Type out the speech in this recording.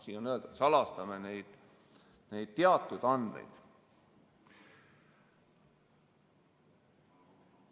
Siin on öeldud, et me salastame neid teatud andmeid.